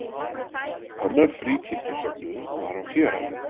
Annar fríkirkjusöfnuður var á Héraði.